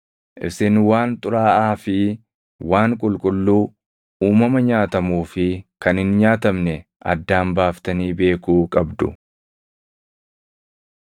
Isin waan xuraaʼaa fi waan qulqulluu, uumama nyaatamuu fi kan hin nyaatamne addaan baaftanii beekuu qabdu.’ ”